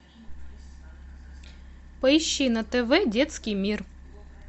поищи на тв детский мир